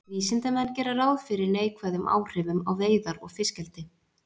Vísindamenn gera ráð fyrir neikvæðum áhrifum á veiðar og fiskeldi.